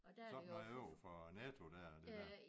Sådan overfor Netto dér og det der